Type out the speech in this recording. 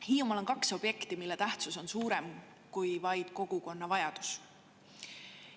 Hiiumaal on kaks objekti, mille tähtsus on suurem kui vaid kogukonna vajaduse.